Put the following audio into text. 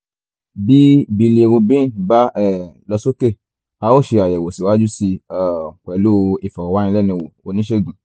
bí bilirubin bá um lọ sókè a ó ṣe àyẹ̀wò síwájú sí i um pẹ̀lú ìfọ̀rọ̀wánilẹ́nuwò oníṣègùn